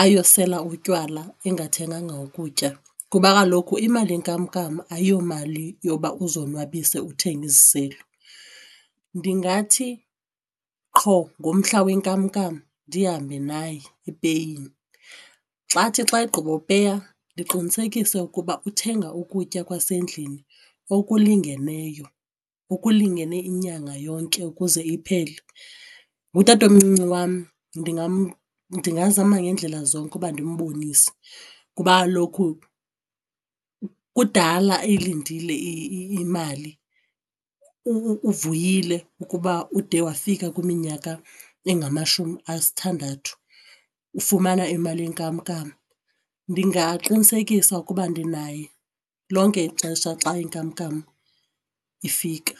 ayosela utywala engathenganga ukutya kuba kaloku imali yenkamnkam ayiyomali yoba uzonwabise uthenge iziselo. Ndingathi qho ngomhla wenkamnkam ndihambe naye epeyini. Xa athi xa egqibopeya ndiqinisekise ukuba uthenga ukutya kwasendlini okulingeneyo okulingene inyanga yonke ukuze iphele. Ngutatomncinci wam ndingazama ngeendlela zonke ukuba ndimbonise kuba kaloku kudala eyilindile imali uvuyile kudala ukuba ude wafika kwiminyaka engamashumi asithandathu ufumana imali yenkamnkam. Ndingaqinisekisa ukuba ndinaye lonke ixesha xa inkamnkam ifika.